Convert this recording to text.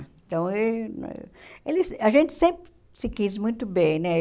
Então e ele a gente sempre se quis muito bem, né?